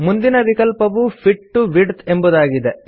ಮುಂದಿನ ವಿಕಲ್ಪವು fit to width ಎಂಬುದಾಗಿದೆ